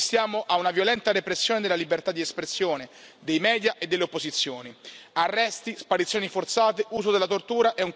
Assistiamo a una violenta repressione della libertà di espressione dei media e delle opposizioni, nonché ad arresti, sparizioni forzate, uso della tortura.